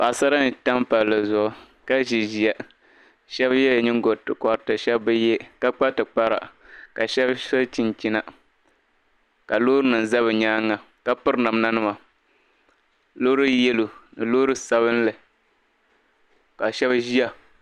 Paɣ'sara n-tam palli zuɣu ka zi ziya shɛba yɛla ningo ti kotti shɛba bi ye ka kpa tipkara ka shɛba so chinchina ka loorinima za bɛ nyaaŋa ka piri namdanima loori "yellow" ni loori sabinli ka shɛba ziya